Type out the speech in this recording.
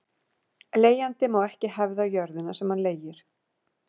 Leigjandi má ekki hefða jörðina sem hann leigir.